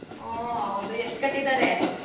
ಉ ಹೌದು ಎಷ್ಟ್ ಕಟ್ಟಿದಾರೆ?